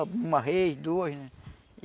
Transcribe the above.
Uma rei, dois, né?